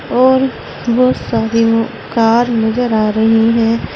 और बहोत सारे वो कार नजर आ रहे हैं।